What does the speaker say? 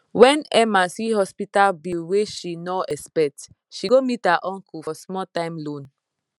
when emma see hospital bill wey she nor expect she go meet her uncle for small time loan